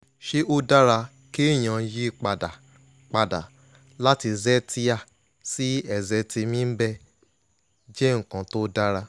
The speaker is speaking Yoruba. ṣé ó dára kéèyàn yí pa dà pa dà láti zetia sí ezetimibe je nkan to dara?